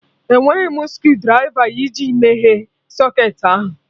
Enweghị m screwdrịva iji meghee socketị ahụ